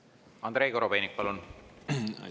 Andrei Korobeinik, palun!